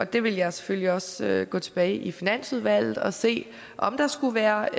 det vil jeg selvfølgelig også gå tilbage i finansudvalget og se om der skulle være